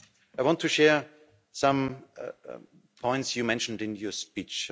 I want to share some points you mentioned in your speech